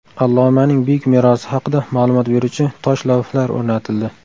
Allomaning buyuk merosi haqida ma’lumot beruvchi tosh lavhlar o‘rnatildi.